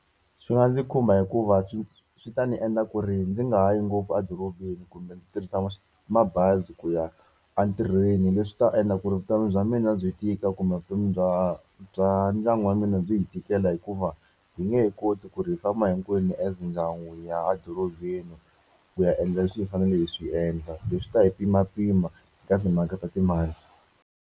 Swi nga ndzi khumba hikuva swi swi ta ni endla ku ri ndzi nga ha yi ngopfu a dorobeni kumbe ndzi tirhisa mabazi ku ya entirhweni. Leswi ta endla ku ri vutomi bya mina byi tika kumbe vutomi bya bya ndyangu wa mina byi hi tikela hikuva hi nge he koti ku ri hi famba hinkwenu as ndyangu hi ya a dorobeni, ku ya endla leswi hi faneleke hi swi endla. Leswi swi ta hi pimapima eka timhaka ta timali.